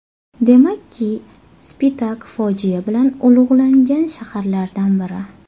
Demakki, Spitak fojia bilan ulug‘langan shaharlardan biri.